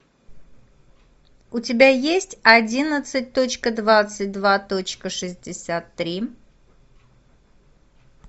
у тебя есть одиннадцать точка двадцать два точка шестьдесят три